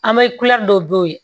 An bɛ dɔ b'o ye